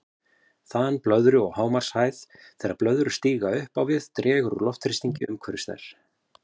Þan blöðru og hámarkshæð Þegar blöðrur stíga upp á við dregur úr loftþrýstingi umhverfis þær.